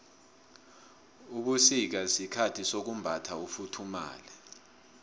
ubusika sikhathi sokumbatha ufuthumale